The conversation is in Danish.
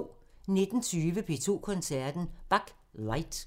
19:20: P2 Koncerten – Bach: Light